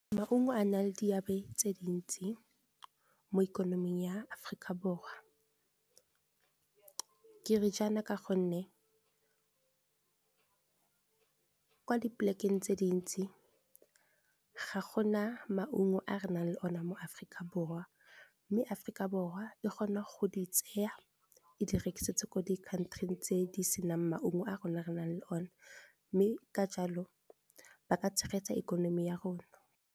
Maungo a nang le diabe tse dintsi mo ikonoming ya Aforika Borwa ke re jaana ka gonne kwa di polekeng tse dintsi ga go na maungo a re nang le o ne mo Aforika Borwa mme Aforika Borwa e kgona go di tseya e di rekisetse ko di country tse di senang maungo a rona re nang le o ne, mme ka jalo ba ka tshegetsa ikonomi ya rona.